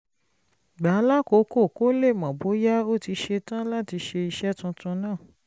gbà á lákòókò kó lè mọ̀ bóyá ó ti ṣe tán láti ṣe iṣẹ́ tuntun náà